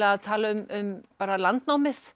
að tala um landnámið